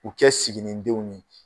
U kɛ siginindenw ye